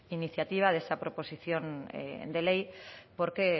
iniciativa de esta proposición de ley porque